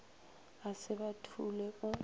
a se ba thule o